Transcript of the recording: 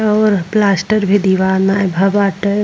और प्लास्टर भी दीवाल बाटे।